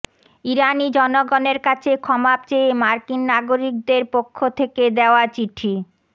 ইরানি জনগণের কাছে ক্ষমা চেয়ে মার্কিন নাগরিকদের পক্ষ থেকে দেয়া চিঠি